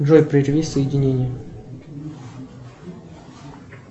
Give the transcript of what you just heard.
джой прерви соединение